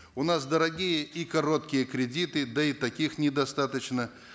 у нас дорогие и короткие кредиты да и таких недостаточно